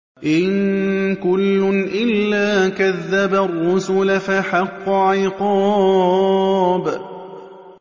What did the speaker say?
إِن كُلٌّ إِلَّا كَذَّبَ الرُّسُلَ فَحَقَّ عِقَابِ